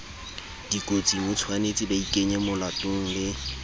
dikotsing hotshwanetse baikenye molatong le